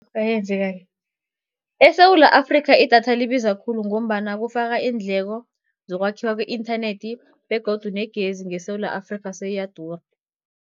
ESewula Afrikha, idatha libiza khulu, ngombana kufaka iindleko zokwakhiwa kwe-inthanethi begodu negezi ngeSewula Afrikha, seyiyadura.